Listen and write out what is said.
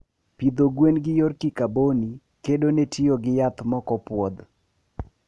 pidho gwen gi yor kikaboni kedone tiyo gi yath mokopuodh